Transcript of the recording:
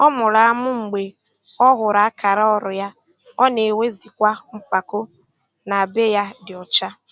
Ọ mụrụ amụ mgbe ọ hụrụ akara ọrụ ya, ọ na-enwezikwa mpako na be ya dị ọcha.